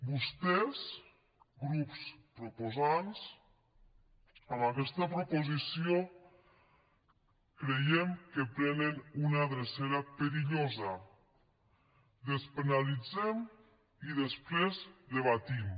vostès grups proposants amb aquesta proposició creiem que prenen una drecera perillosa despenalitzem i després debatem